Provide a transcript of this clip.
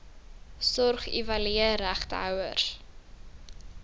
sorg evalueer regtehouers